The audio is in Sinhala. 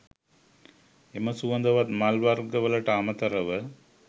එම සුවඳවත් මල් වර්ග වලට අමතරව